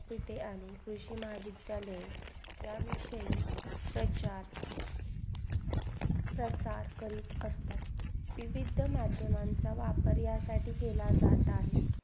तिथे आणि कृषी महाविद्यालय त्याविषयही त्याचात तसार करीत असतात. विविध मध्य माणसं वापरयासाठी केला जात आहे.